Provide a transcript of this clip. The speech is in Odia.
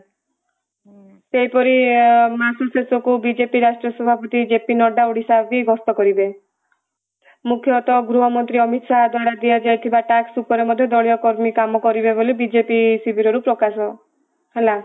ସେହିପରି ମାସ ଶେଷକୁ ବିଜେପି ରାଷ୍ଟ୍ର ସଭାପତି ଜେପି ନଡା ଓଡିଶା ବି ଗ୍ରସ୍ତ କରିବେ ମୁଖ୍ୟତ ଗୃହ ମନ୍ତ୍ରୀ ଅମିତ ଶାହ ଦ୍ଵାରା ଦିଆ ଯାଇଥିବା tax ଉପରେ ମଧ୍ୟ ଦଳୀୟ କର୍ମୀ କାମ କରିବେ ବୋଲି ବିଜେପି ଶିଭିରରୁ ପ୍ରକାଶ ହେଲା